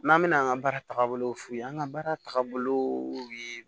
N'an bɛna an ka baara tagabolo f'u ye an ka baara tagabolo ye